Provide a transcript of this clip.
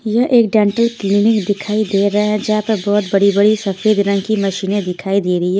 यह एक dental clinic दिखाई दे रहा है जहाँ पर बहुत बड़ी बड़ी सफेद रंग की मशीनें दिखाई दे रही है।